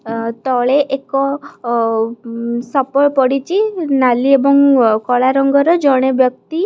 ଆ -- ତଳେ ଏକ ଅ -- ସପ ପଡିଛି ନାଲି ଏବଂ କଳା ରଙ୍ଗର ଜଣେ ବ୍ୟକ୍ତି --